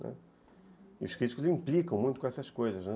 E os críticos implicam muito com essas coisas, né.